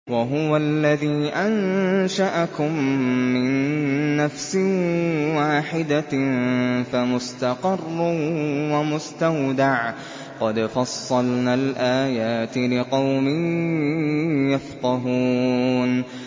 وَهُوَ الَّذِي أَنشَأَكُم مِّن نَّفْسٍ وَاحِدَةٍ فَمُسْتَقَرٌّ وَمُسْتَوْدَعٌ ۗ قَدْ فَصَّلْنَا الْآيَاتِ لِقَوْمٍ يَفْقَهُونَ